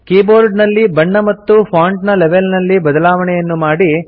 ಕೀಬೋರ್ಡಿನಲ್ಲಿ ಬಣ್ಣ ಮತ್ತು ಫಾಂಟ್ ನ ಲೆವೆಲ್ ನಲ್ಲಿ ಬದಲಾವಣೆಯನ್ನು ಮಾಡಿ